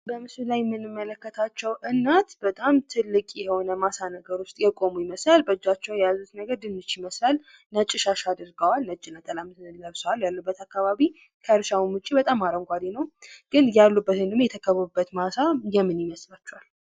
ምስሉ ላይ የምንመለከተው አንዲት እናት ማሳ ላይ ቆማ እናያለን። ይህ ቦታ የምን ማሳ ይመስላችኳል?